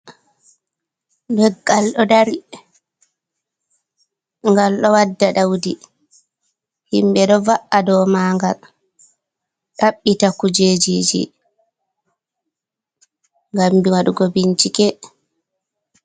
Leggal ɗo dari, ngal ɗo wadda ɗaudi. Himɓe ɗo va’a dou magal, ɗabbita kujejije, ngam waɗugo bincike.